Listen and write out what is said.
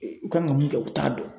u kan ka mun kɛ u t'a dɔn.